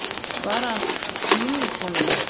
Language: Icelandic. Bara að Lúlli kæmi nú.